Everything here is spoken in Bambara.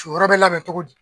cuyɔrɔ bɛ labɛn cogo di.